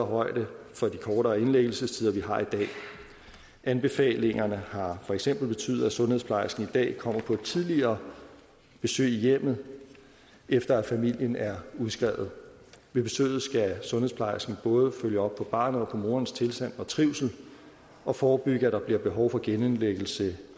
højde for de kortere indlæggelsestider vi har i dag anbefalingerne har for eksempel betydet at sundhedsplejersken i dag kommer på et tidligere besøg i hjemmet efter at familien er udskrevet ved besøget skal sundhedsplejersken både følge op på barnets og morens tilstand og trivsel og forebygge at der bliver behov for genindlæggelse